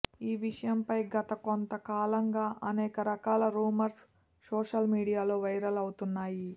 ఈ విషయంపై గత గొంత కాలంగా అనేక రకాల రూమర్స్ సోషల్ మీడియాలో వైరల్ అవుతున్నాయి